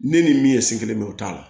Ne ni min sen kelen bɛ o t'a la